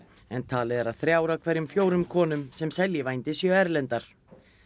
en talið er að þrjár af hverjum fjórum konum sem selji vændi séu erlendar